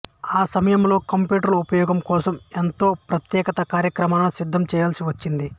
ఆ సమయంలో కంప్యూటర్ల ఉపయోగం కోసం ప్రత్యేక కార్యక్రమాలను సిద్ధం చేయాల్సి వచ్చింది